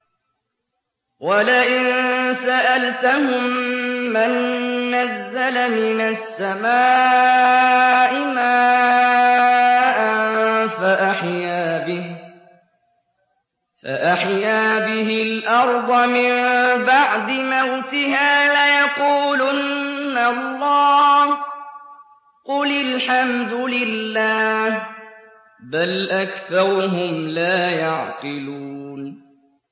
وَلَئِن سَأَلْتَهُم مَّن نَّزَّلَ مِنَ السَّمَاءِ مَاءً فَأَحْيَا بِهِ الْأَرْضَ مِن بَعْدِ مَوْتِهَا لَيَقُولُنَّ اللَّهُ ۚ قُلِ الْحَمْدُ لِلَّهِ ۚ بَلْ أَكْثَرُهُمْ لَا يَعْقِلُونَ